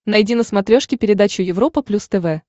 найди на смотрешке передачу европа плюс тв